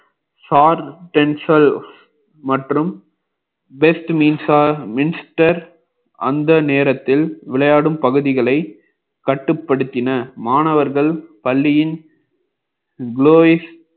மற்றும் best அந்த நேரத்தில் விளையாடும் பகுதிகளை கட்டுப்படுத்தின மாணவர்கள் பள்ளியின் glow இஸ்